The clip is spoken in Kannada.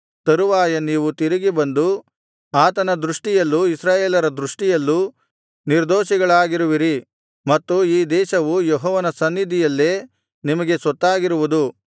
ಯುದ್ಧಮಾಡಿ ತರುವಾಯ ನೀವು ತಿರುಗಿ ಬಂದು ಆತನ ದೃಷ್ಟಿಯಲ್ಲೂ ಇಸ್ರಾಯೇಲರ ದೃಷ್ಟಿಯಲ್ಲೂ ನಿರ್ದೋಷಿಗಳಾಗಿರುವಿರಿ ಮತ್ತು ಈ ದೇಶವು ಯೆಹೋವನ ಸನ್ನಿಧಿಯಲ್ಲೇ ನಿಮಗೆ ಸ್ವತ್ತಾಗಿರುವುದು